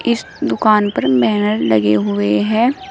इस दुकान पर बैनर लगे हुए है।